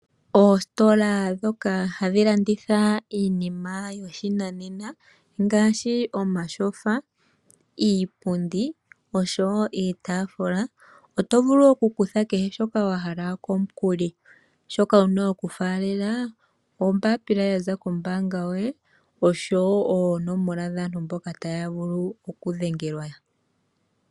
Oositola dhoka hadhi landitha iinima yoshinanena ngaashi omashofa ,iipundi osho woo iitaafula, oto vulu oku kutha kehe shoka wa hala komukuli, shoka wuna oku faalela, ombapila ya za kombaanga yoye osho woo oonomola dhaantu mboka taya vulu oku dhengelwa .